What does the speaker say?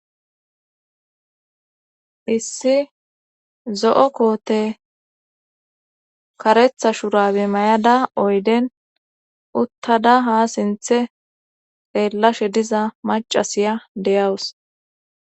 Issi zo7o koote karetha shurabe mayada oyden uttada ha sinthe eellashe diza macasiya deyawus.